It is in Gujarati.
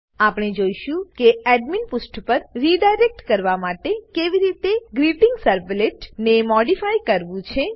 આપણે જોઈશું કે એડમીન પુષ્ઠ પર રીડાયરેક્ટ કરવા માટે કેવી રીતે ગ્રીટિંગસર્વલેટ ને મોડીફાય કરવું છે